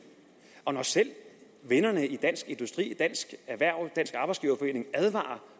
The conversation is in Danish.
og når selv vennerne i dansk industri dansk erhverv og dansk arbejdsgiverforening advarer